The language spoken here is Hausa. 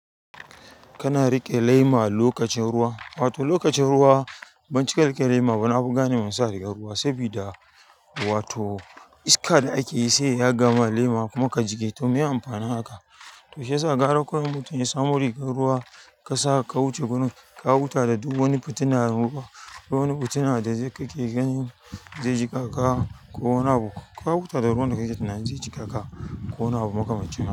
Kana riƙe lema lokacin ruwa, wato lokacin ruwa bani cika riƙe lema ba. Na fi gane masa daga ruwa saboda wato iska da ake yi se ya gama lema kuma ka cike to me amfanin haka? To shiyasa gara kawai in mutum yasamo rigar ruwa kasa ka wuce wurin ka huta da duk wani fitina ko wani fitina da kake gani ze jikaka ko wani abu ka huta da ruwan da kake ganin ze jikaka ko wani abu makamancin haka.